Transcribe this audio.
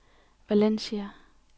Valencia